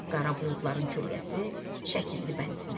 Qara buludların kölgəsi çəkildi bənizinə.